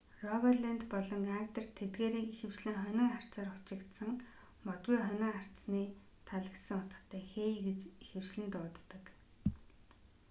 рогалэнд болон агдерт тэдгээрийг ихэвчлэн хонин арцаар хучигдсан модгүй хонин арцны тал гэсэн утгатай хей гэж ихэвчлэн дууддаг